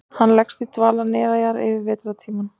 Hann leggst í dvala neðanjarðar yfir vetrartímann.